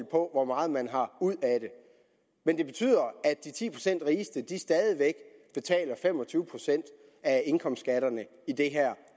på hvor meget man har ud af det men det betyder at de ti procent rigeste stadig væk betaler fem og tyve procent af indkomstskatterne i det her